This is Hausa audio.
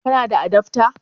Kana da adafta?